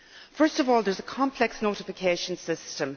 First of all, there is a complex notification system.